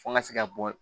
Fo n ka se ka bɔ